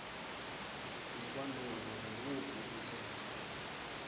ngekwanobe nguwuphi umtsetfo